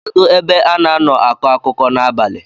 kedu ebe a na-nọ akọ akụkọ n’abalị?